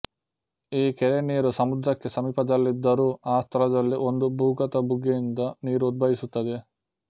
ಈ ಕೆರೆ ನೀರು ಸಮುದ್ರಕ್ಕೆ ಸಮೀಪದಲ್ಲಿದ್ದರೂ ಆ ಸ್ಥಳದಲ್ಲಿ ಒಂದು ಭೂಗತ ಬುಗ್ಗೆಯಿಂದ ನೀರು ಉದ್ಭವಿಸುತ್ತದೆ